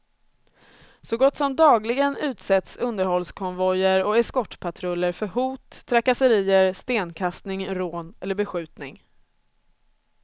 Så gott som dagligen utsätts underhållskonvojer och eskortpatruller för hot, trakasserier, stenkastning, rån eller beskjutning.